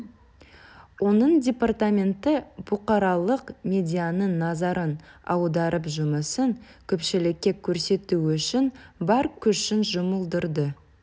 оның департаменті бұқаралық медианың назарын аударып жұмысын көпшілікке көрсету үшін бар күшін жұмылдырды